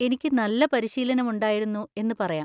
എനിക്ക് നല്ല പരിശീലനം ഉണ്ടായിരുന്നു എന്ന് പറയാം.